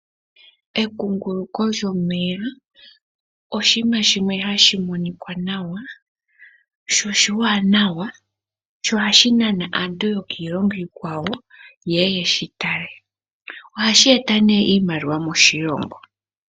Ekunguluko lyomeya oshinima shimwe hashi monikwa nawa sho oshiwanawa, sho ohashi nana aantu yokiilongo iikwawo yeye yeshi tale. Ohashi eta iimaliwa moshilongo.